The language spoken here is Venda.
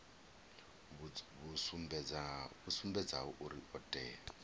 vhu sumbedzaho uri o tea